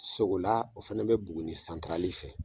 Sogola o fɛnɛ be buguni santarali fɛ